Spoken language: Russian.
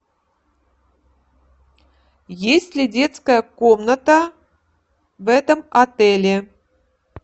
есть ли детская комната в этом отеле